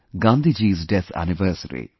Gandhiji's death anniversary